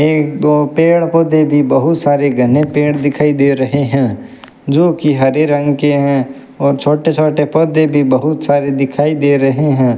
एक दो पेड़ पौधे भी बहुत सारे घने पेड़ दिखाई दे रहे हैं जो कि हरे रंग के हैं और छोटे छोटे पौधे भी बहुत सारे दिखाई दे रहे हैं।